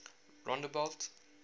rondebult